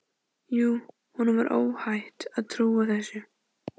Jú, honum var óhætt að trúa þessu!